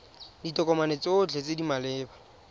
ditokomane tsotlhe tse di maleba